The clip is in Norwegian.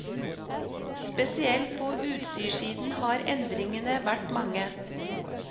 Spesielt på utstyrssiden har endringene vært mange.